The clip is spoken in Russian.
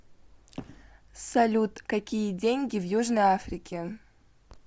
салют какие деньги в южной африке